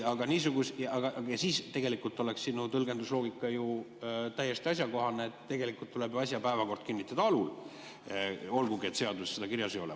Tegelikult oleks sinu tõlgendusloogika ju täiesti asjakohane, et päevakord tuleb kinnitada alul, olgugi et seaduses seda kirjas ei ole.